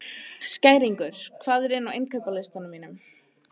Skæringur, hvað er á innkaupalistanum mínum?